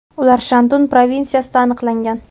Ular Shandun provinsiyasida aniqlangan.